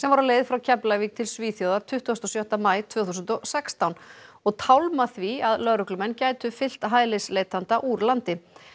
var á leið frá Keflavík til Svíþjóðar tuttugasta og sjötta maí tvö þúsund og sextán og tálma því að lögreglumenn gætu fylgt hælisleitanda úr landi